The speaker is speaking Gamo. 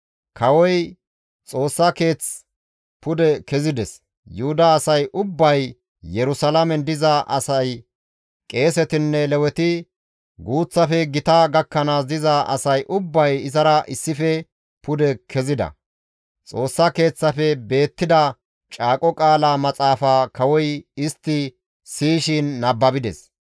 Kawoy Xoossa Keeth pude kezides; Yuhuda asay ubbay, Yerusalaamen diza asay, qeesetinne Leweti, guuththafe gita gakkanaasi diza asay ubbay izara issife pude kezida. Xoossa Keeththaafe beettida Caaqo Qaala Maxaafaa kawoy istti siyishin nababides.